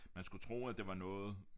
Man skulle tro at det var noget